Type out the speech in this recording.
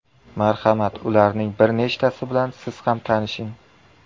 Marhamat, ularning bir nechtasi bilan siz ham tanishing.